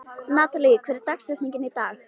Natalí, hver er dagsetningin í dag?